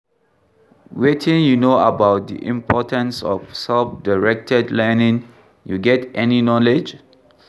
Wetin you know about di importance of self-directed learning, you get any knowledge?